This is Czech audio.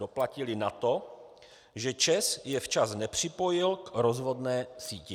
Doplatili na to, že ČEZ je včas nepřipojil k rozvodné síti.